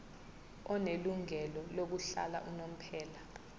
onelungelo lokuhlala unomphela